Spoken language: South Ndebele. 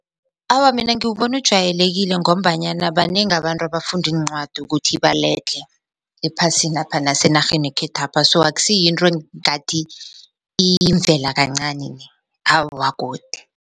Awa, mina ngiwubona ujwayelekile ngombanyana banengi abantu abafundiincwadi ukuthi baledlhe ephasinapha nasenarheni yekhethwapha so aksiyinto engathi iyimvela kancani awa godi.